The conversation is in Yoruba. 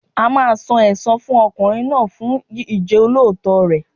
A máa san ẹsan fún ọkùnrin náà fún Ìjọ́lóòótọ́ rẹ̀.